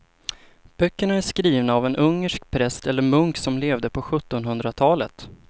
Böckerna är skrivna av en ungersk präst eller munk som levde på sjuttonhundratalet.